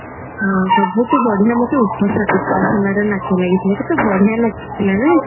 ହଁ ସବୁଠୁ ମତେ ଉପ ଉପାସନା ର ନାଚ ଲାଗିଥିଲା କେତେ ବଢିଆ ନାଚୁ ଥିଲା ନା